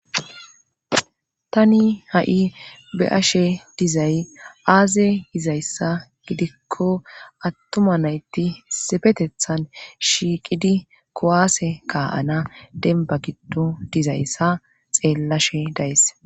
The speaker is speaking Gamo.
Tani ha7i be7ashe dizay aaze izayssa gidikko attuma nayti sepetethan shiiqidi kowaase kaa7ana denba giddo dizayssa xeellashe days